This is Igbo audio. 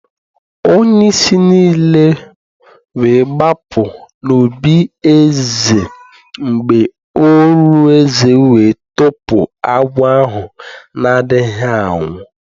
Onye-isi nile we b͕apu n'obí eze mb͕e orù eze we tọpu agwọ ahu nādighi anwu